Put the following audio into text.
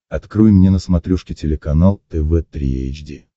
открой мне на смотрешке телеканал тв три эйч ди